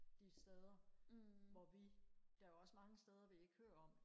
de steder hvor vi der er også mange steder vi ikke hører om